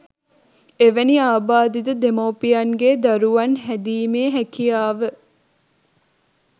එවැනි ආබාධිත දෙමව්පියන්ගෙ දරුවන් හැදීමෙ හැකියාව